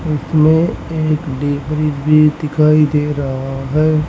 इसमें एक D freeze भी दिखाई दे रहा है।